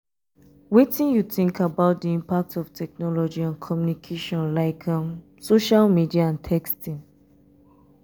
wetin you think about di impact of technology on communication like social um media and texting?